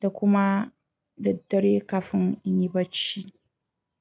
da kuma daddare kafin in yi bacci.